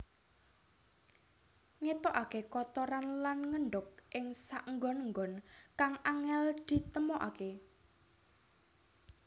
Ngetokaké kotoran lan ngendhog ing saenggon enggon kang angél ditemokaké